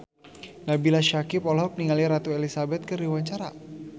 Nabila Syakieb olohok ningali Ratu Elizabeth keur diwawancara